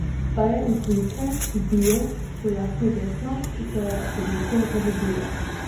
Ta je iz Like, bio, pojasni Vesna, ki se je v Liko zaljubila.